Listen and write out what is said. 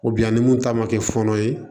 ni mun ta ma kɛ fɔɔnɔ ye